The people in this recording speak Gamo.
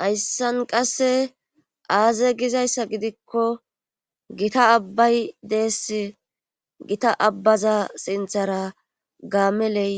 Hayssan qasse aaze gizayssa gidikko gita abbay dees gita abbaza sinthara gaameley